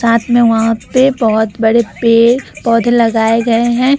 साथ में वहां पर बहुत बड़े पेड़-पौधे लगाए है ।